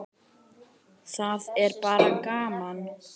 Það er bara gaman.